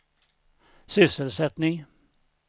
sysselsättning